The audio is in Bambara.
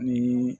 Ni